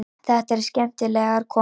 Þetta eru skemmtilegar konur.